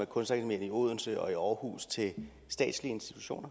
kunstakademiet i odense og i aarhus til statslige institutioner